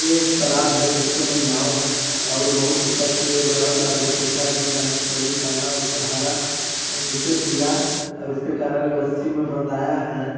ये एक तलाब है जिसके में नाव है अउर इसका सूर्य ग्रहण बहुत अच्छा दिख रहा है तरी काला ऊपर हरा अउ निचे पीला अउ इसके कारण ये रस्सी में बंधाया है।